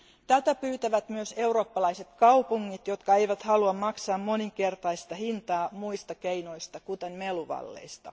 Tätä pyytävät myös eurooppalaiset kaupungit, jotka eivät halua maksaa moninkertaista hintaa muista keinoista, kuten meluvalleista.